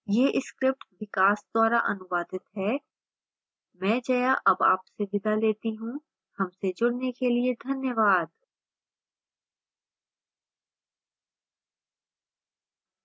यह script विकास द्वारा अनुवादित है मैं जया अब आपसे विदा लेती हूँ